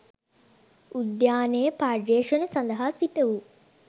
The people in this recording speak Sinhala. උද්‍යානයේ පර්යේෂණ සඳහා සිටවූ